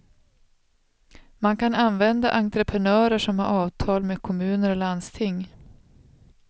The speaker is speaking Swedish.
Man kan använda entreprenörer som har avtal med kommuner och landsting.